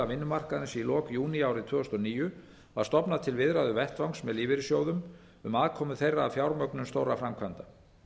vinnumarkaðarins í lok júní árið tvö þúsund og níu var stofnað til viðræðuvettvangs með lífeyrissjóðum um aðkomu þeirra að fjármögnun stórra framkvæmda